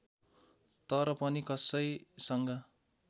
तर पनि कसैसँग